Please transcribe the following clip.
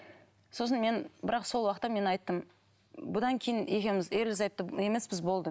сосын мен бірақ сол уақытта мен айттым бұдан кейін екеуміз ерлі зайыпты емеспіз болды